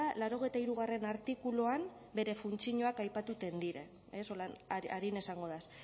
laurogeita hirugarrena artikuluaren bere funtzioak aipatuten dira ez holan arina izango naiz